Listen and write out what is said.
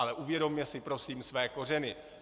Ale uvědomme si prosím své kořeny.